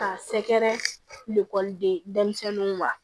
K'a sɛgɛrɛ denmisɛnninw wa